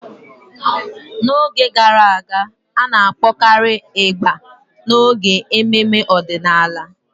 N'oge gara aga, a na-akpọkarị ịgbà n'oge ememe ọdịnala.